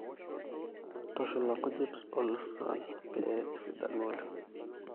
ntushula nkujit o lucerne pee esidanu oleng